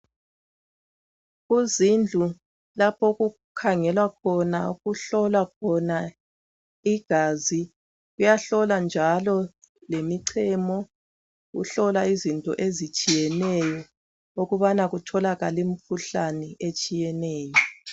Kuzindlu lapho okukhangelwa khona, okuhlolwa khona igazi. Kuyahlolwa njalo lemichemo, kuhlolwa izinto ezitshiyeneyo ukubana kutholakale imikhuhlane etshiyeneyo.